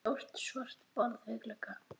Stórt svart borð við glugga.